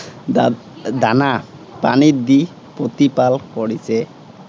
দাদানা পানী দি প্ৰতিপাল কৰিছে।